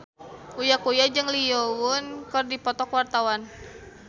Uya Kuya jeung Lee Yo Won keur dipoto ku wartawan